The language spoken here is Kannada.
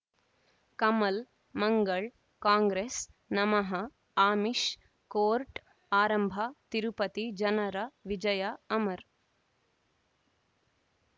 ಕಮಲ್ ಮಂಗಳ್ ಕಾಂಗ್ರೆಸ್ ನಮಃ ಅಮಿಷ್ ಕೋರ್ಟ್ ಆರಂಭ ತಿರುಪತಿ ಜನರ ವಿಜಯ ಅಮರ್